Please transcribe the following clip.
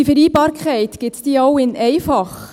Diese Vereinbarkeit, gibt es sie auch «in einfach»?